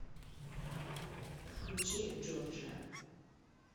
включи джорджиа